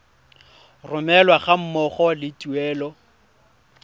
romelwa ga mmogo le tuelo